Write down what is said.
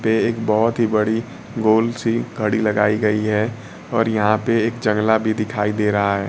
पे एक बहोत ही बड़ी गोल सी घड़ी लगाई गई है और यहां पे एक जंगला भी दिखाई दे रहा है।